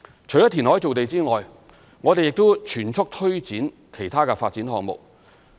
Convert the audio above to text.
除填海造地外，我們亦正全速推展其他發展項目。